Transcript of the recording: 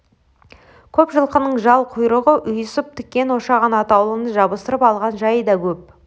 көп жылқының жал-құйрығы ұйысып тікен ошаған атаулыны жабыстырып алған жайы да көп